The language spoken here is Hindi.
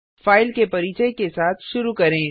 फाइल के परिचय के साथ शुरू करें